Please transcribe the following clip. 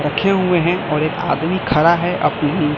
रखे हुए हैं और एक आदमी खड़ा है अपनी--